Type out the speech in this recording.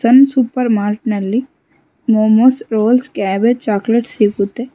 ಸನ್ Super Mart ನಲ್ಲಿ momos rolls cabbage chocolates ಸಿಗುತ್ತೆ.